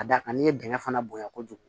Ka d'a kan n'i ye dingɛ fana bonya kojugu